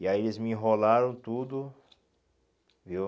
E aí eles me enrolaram tudo, viu?